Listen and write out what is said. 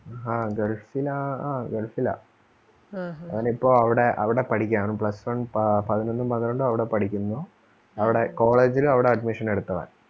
ആ gulf ലാ ആ gulf ലാ അവനിപ്പോ അവിടെ അവിടെ പഠിക്കയാണ് plus one ആഹ് പതിനൊന്നും പന്ത്രണ്ടും അവിടെ പഠിക്കുന്നു. അവിടെ college ലും അവിടെ admission എടുത്തവൻ.